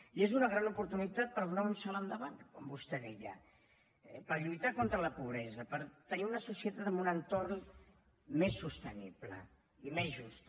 i és una gran oportunitat per donar un salt endavant com vostè deia per lluitar contra la pobresa per tenir una societat amb un entorn més sostenible i més justa